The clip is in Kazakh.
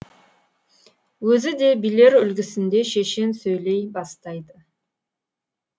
өзі де билер үлгісінде шешен сөйлей бастайды